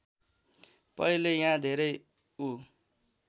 पहिले यहाँ धेरै उ